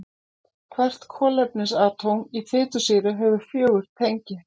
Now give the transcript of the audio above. Hvert kolefnisatóm í fitusýru hefur fjögur tengi.